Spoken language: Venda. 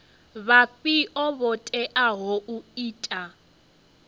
vhafhio vho teaho u ita